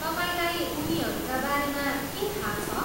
तपाईँलाई उनीहरूका बारेमा के थाहा छ?